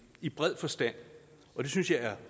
i bred forstand det synes jeg er